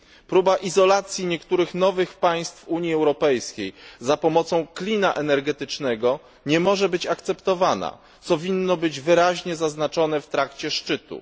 Próba izolacji niektórych nowych państw w Unii Europejskiej za pomocą klina energetycznego nie może być akceptowana, co winno być wyraźnie zaznaczone w trakcie szczytu.